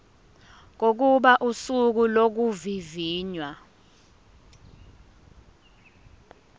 kokuba usuku lokuvivinywa